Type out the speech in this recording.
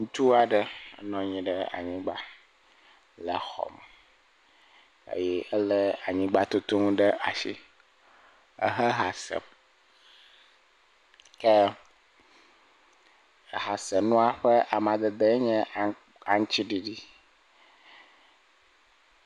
Ŋutsu aɖe nɔ anyi ɖe anyigba le xɔ me eye elé anyigba tutu nu ɖe asi, ehe ha sem, ke ehasenua ƒe amadede nye aŋutiɖiɖi.